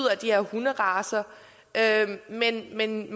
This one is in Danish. de her hunderacer men men